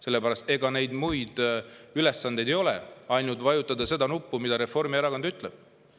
Sellepärast et ega neil muid ülesandeid ei ole kui ainult vajutada seda nuppu, mida Reformierakond ütleb.